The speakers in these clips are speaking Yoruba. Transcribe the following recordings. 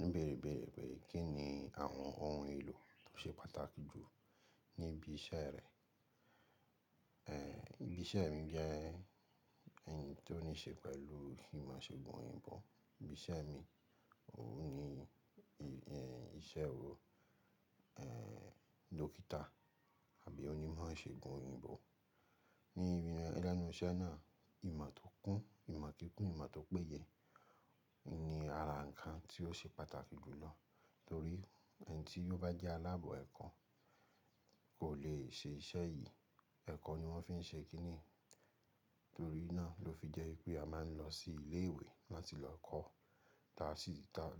Òní béèrè béèrè pé kí ni àwọn ohun èlò tó ṣe pàtàkì jù ní ibi iṣẹ́ rẹ. E, ibi iṣẹ́ mi jẹ́ ẹyì tó níṣe pẹ̀lú ìmọ̀ṣẹ̀gùn òyìnbó. Ibi iṣẹ́ mi òun ni iṣẹ́ ò, e, dókítà àbí onímọ̀ṣẹ̀gùn òyìnbó. Ní ibi lẹ́nu iṣẹ́ náà ìmọ̀ tó kún, ìmọ̀ kíkun, ìmọ̀ tó péye ni ara ǹkan tí ó ṣe pàtàkì jù lọ torí ẹni tí yóò bá jẹ́ aláàbọ̀ ẹ̀kọ́ kò lè ṣe iṣẹ́ yìí. Ẹ̀kọ́ ni wọ́n fi ń ṣe kí ni. Torí náà ló fi jẹ́ pé a máa ń lọ sí ilé ìwé láti lọ kọ́,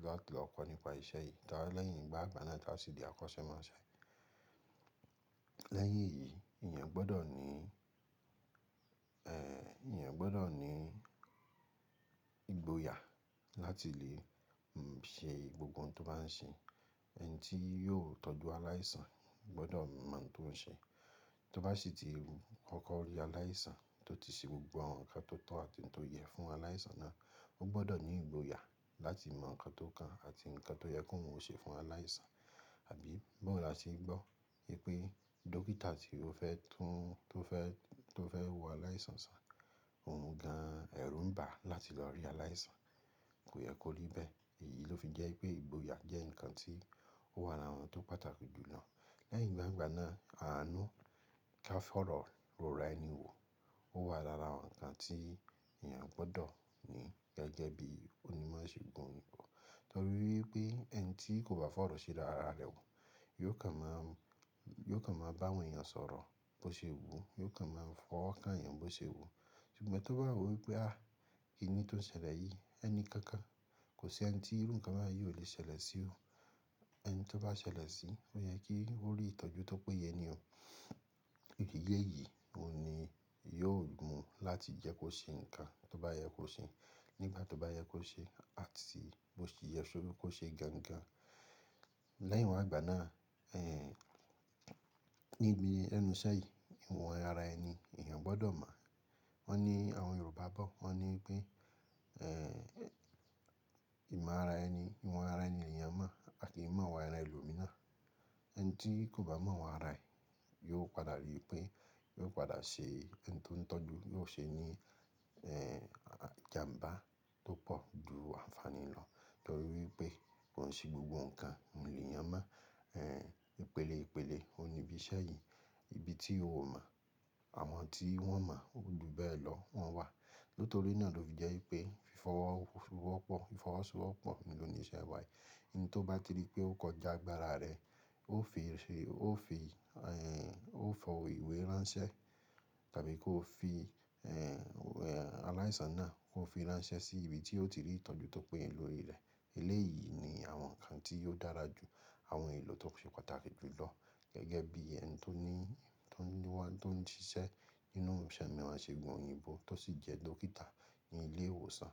láti lọ kọ́ nípa iṣẹ́ yìí táa lẹ́yìn ìgbàgbà náà táa sì di akọ́ṣẹ́mọṣẹ́. Lẹ́yìn èyí, èyàn gbọ́dọ̀ ní, e, èyàn gbọ́dọ̀ ní ìgboyà láti lè ń ṣe gbogbo ohun tó bá ń ṣe. Ẹni tí yóò tọ́jú aláìsàn gbọ́dọ̀ mọ ohun tó ń ṣe. Tó bá sì ti kọkọ rí aláìsàn tó ti ṣe gbogbo àwọn ǹkan tó tọ́ àti tó yẹ fún aláìsàn náà, ó gbọ́dọ̀ ní ìgboyà láti mọ ǹkan tó kàn àti ǹkan tó yẹ kó oun ṣe fún aláìsàn. Àbí báwo làṣẹ ń gbọ́ pé dókítà tí ó fẹ́ tún, tó fẹ́, tó fẹ́ wo aláìsàn sàn, òun gan ẹrù n bà á láti lọ rí aláìsàn. Kò yẹ kó rí bẹ́ẹ̀. Èyí ló fi jẹ́ pé ìgboyà jẹ́ ǹkan tí ó wà lára àwọn tó pàtàkì jù lọ. Lẹ́yìn ìgbàgbà náà àánú ká fọ̀rọ̀ ró ra ẹ́ni wò ó wà lára àwọn ǹkan tí èyàn gbọ́dọ̀ ní gẹ́gẹ́ bí onímọ̀ṣẹ̀gùn òyìnbó torí wipé ẹni tí kò bá fọ̀rọ̀ ṣe dára rẹ̀ wò yóò kàn má, yóò kàn má bá àwọn èèyàn sọ̀rọ̀ bó ṣe wu, yóò kàn máa fọwọ́ ká ẹ̀yàn bó ṣe wu. Ṣùgbọ́n tó bá wò wípé, ah! Kí ni tó ń ṣẹlẹ̀ yìí? Ẹni kankan, kò sí ẹni tí irú ǹkan bayìí ò lè ṣẹlẹ̀ sí ò. Ẹni tó bá ṣẹlẹ̀ sí, ò yẹ kí ó rí ìtọ́jú tó péye ní òun. Ìdíyẹ́ yìí òun ni yóò mú láti jẹ́ kó ṣe ǹkan tó bá yẹ kó ṣe nígbà tó bá yẹ kó ṣe, àti bó ti yẹ sórí kó ṣe gangan. Lẹ́yìn ìwa igbà náà, e, níbi lẹ́nu iṣẹ́ yìí ìwọ̀n ara ẹni èyàn gbọ́dọ̀ mọ̀. Wọ́n ní àwọn Yorùbá bọ̀, wọ́n ní pé, e, ìmọ̀ ara ẹni, ìwọ̀n ara ẹni lèyàn mọ̀ aki mọ̀ ìwà ara ẹlòmíràn. Ẹni tí kò bá mọ̀ ìwọn ara ẹ̀ yóò padà rí pé yóò padà ṣe ẹni tó ń tọ́jú yóò ṣe ní, e, ìjàǹbá tó pọ̀ ju àǹfàní lọ torí wipé kòn ṣe gbogbo ǹkan nì ènìyàn mọ̀. E, ìpele ìpele òun ni ibi iṣẹ́ yìí. Ibi tí ò mọ̀, àwọn tí wọ́n mọ̀ ó dù bẹ́ẹ̀ lọ wọ́n wà. Nítorí náà ló fi jẹ́ wipé fífọwọ́ ṣúwọ́ pọ̀, fífọwọ́ ṣowọ́ pọ̀ oun lòníṣẹ́ wa yìí. Oun tó bá ti rí pé ó kọjá gbára rẹ̀ ó fi ṣe, ó fi, e, ó fọ ìwé ránṣẹ́ tàbí kó fi, e, aláìsàn náà kó fi ránṣẹ́ sí ibi tí ó ti rí ìtọ́jú tó péye lórí rẹ̀. Eleyii ni àwọn ǹkan tí óò dára jù àwọn ohun èlò tó ṣe pàtàkì jù lọ gẹ́gẹ́ bí ẹni tó ní, tó ń lọ́wọ́, tó ń ṣiṣẹ́ nínú òǹṣẹ̀ mìí aṣegùn òyìnbó tó sì jẹ́ dókítà ní ilé ìwòsàn.